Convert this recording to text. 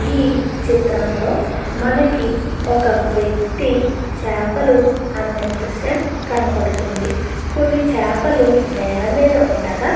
ఈ చిత్రంలో మనకి ఒక వ్యక్తి చాపలు అమ్ముతున్నట్టు దృశ్యం కనబడుతూ ఉంది. కొన్ని చేపలు నేల మీద ఉండగా --